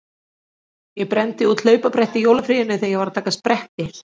Ég brenndi út hlaupabretti í jólafríinu þegar ég var að taka spretti.